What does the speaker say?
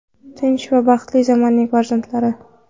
Tinch va baxtli zamonning farzandlari.